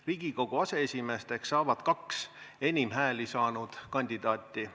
Riigikogu aseesimeesteks saavad kaks enim hääli saanud kandidaati.